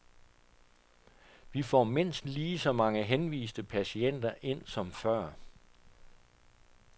Vi får mindst lige så mange henviste patienter ind som før.